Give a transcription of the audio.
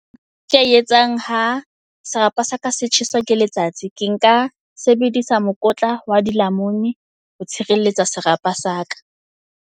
Ke a etsang ha serapa sa ka se tjheswa ke letsatsi. Ke nka sebedisa mokotla wa dilamuni ho tshireletsa serapa sa ka.